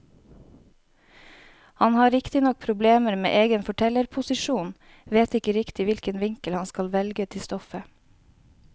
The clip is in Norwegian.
Han har riktignok problemer med egen fortellerposisjon, vet ikke riktig hvilken vinkel han skal velge til stoffet.